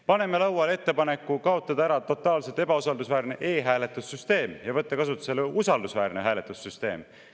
Paneme lauale ettepaneku kaotada ära totaalselt ebausaldusväärne e‑hääletussüsteem ja võtta kasutusele usaldusväärne hääletussüsteem.